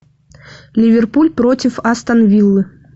ливерпуль против астон виллы